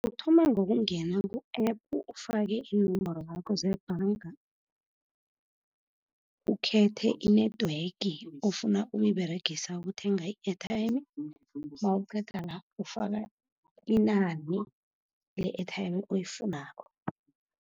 Uthoma ngokungena ku-App, ufake iinomboro zakho zebhanga, ukhethe i-network ofuna ukuyiberegisa ukuthenga i-airtime. Nawuqeda la ufaka inani le-airtime oyifunako.